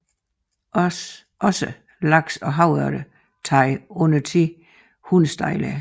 Også laks og havørred tager undertiden hundestejler